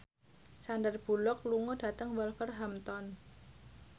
Sandar Bullock lunga dhateng Wolverhampton